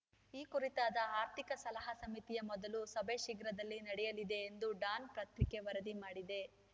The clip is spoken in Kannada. ಈ ಕುರಿತಾದ ಆರ್ಥಿಕ ಸಲಹಾ ಸಮಿತಿಯ ಮೊದಲ ಸಭೆ ಶೀಘ್ರದಲ್ಲೇ ನಡೆಯಲಿದೆ ಎಂದು ಡಾನ್‌ ಪತ್ರಿಕೆ ವರದಿ ಮಾಡಿದೆ